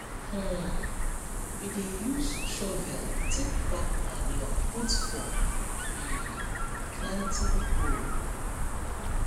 um we dey use shovel take pack manure put for um planting hole